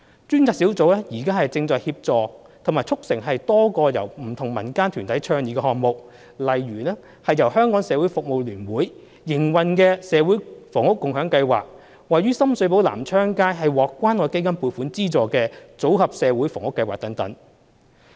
專責小組正在協助及促成多個由不同民間團體倡議的項目，例如由香港社會服務聯會營運的"社會房屋共享計劃"及獲關愛基金撥款資助位於深水埗南昌街的"組合社會房屋計劃"等。